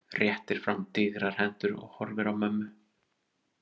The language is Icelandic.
Réttir fram digrar hendurnar og horfir á mömmu.